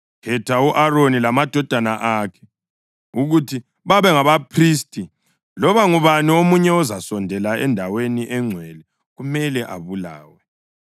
Khetha u-Aroni lamadodana akhe ukuthi babe ngabaphristi; loba ngubani omunye ozasondela endaweni engcwele kumele abulawe.”